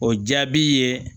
O jaabi ye